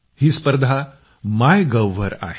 ही स्पर्धा MyGov वर आहे